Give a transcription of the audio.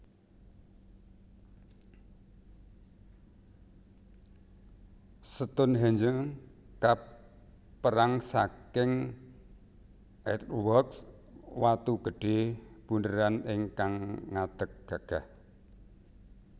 Stonhenge kaperang saking Earthworks watu gedhe bundheran ingkang ngadeg gagah